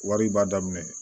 Wari b'a daminɛ